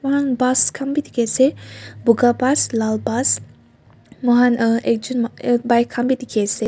moihan bus khan bi dikhi ase buga bus lal bus moihan uhh ekjon uhh bike bi dikhi ase.